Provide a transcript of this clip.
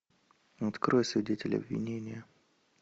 открой свидетель обвинения